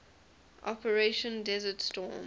operation desert storm